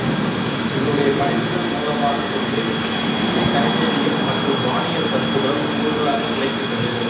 இவருடைய படைப்புகள் மூலமாக்கொண்டு இந்திய கணிதவியல் மற்றும் வானியல் கருத்துக்களும் நூல்களாக கிடைக்கின்றது